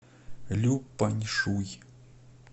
люпаньшуй